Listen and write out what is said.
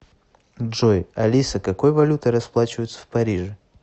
джой алиса какой валютой расплачиваются в париже